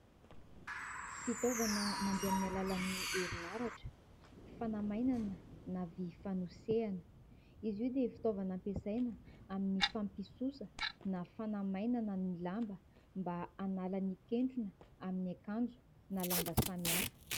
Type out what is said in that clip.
Fitaovana mandeha amin'ny alalan'ny herinaratra fanamainana na vy fanosehana. Izy io dia fitaovana ampiasaina amin'ny fampisosa na fanamainana ny lamba mba hanala ny kentrona amin'ny akanjo na lamba samihafa.